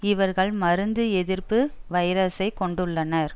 இவர்கள் மருந்து எதிர்ப்பு வைரசை கொண்டுள்ளனர்